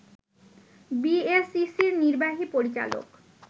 বিএসইসির নির্বাহী পরিচালক